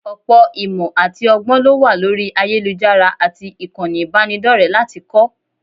Ọ̀pọ̀ ìmọ̀ àti ọgbọ́n ló wà lórí ayélujára àti ìkànnì ìbánidọ́rẹ̀ẹ́ láti kọ́